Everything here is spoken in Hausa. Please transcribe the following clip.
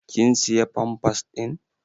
Ƙin siya pampas ɗin?